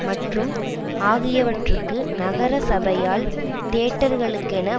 மற்றும் ஆகியவற்றுக்கு நகர சபையால் தியேட்டர்களுக்கென